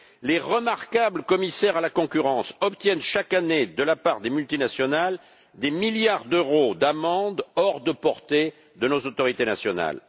Les remarquables commissaires chargés de la concurrence obtiennent chaque année de la part des multinationales des milliards d'euros d'amende hors de portée de nos autorités nationales.